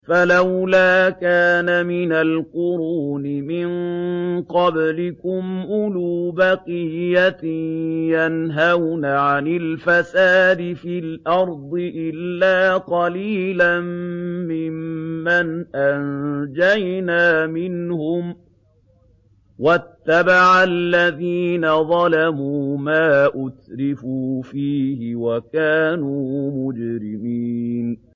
فَلَوْلَا كَانَ مِنَ الْقُرُونِ مِن قَبْلِكُمْ أُولُو بَقِيَّةٍ يَنْهَوْنَ عَنِ الْفَسَادِ فِي الْأَرْضِ إِلَّا قَلِيلًا مِّمَّنْ أَنجَيْنَا مِنْهُمْ ۗ وَاتَّبَعَ الَّذِينَ ظَلَمُوا مَا أُتْرِفُوا فِيهِ وَكَانُوا مُجْرِمِينَ